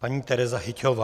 Paní Tereza Hyťhová.